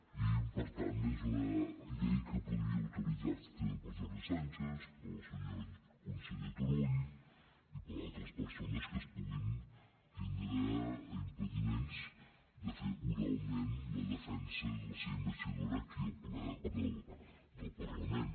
i per tant és una llei que podria utilitzar se també per jordi sànchez pel senyor conseller turull i per altres persones que puguin tindre impediments de fer oralment la defensa de la seva investidura aquí al ple del parlament